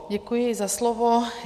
Děkuji za slovo.